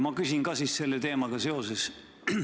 Ma küsin ka selle teemaga seoses.